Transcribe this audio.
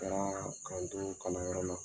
Kɛra ka n to kalanyɔrɔ la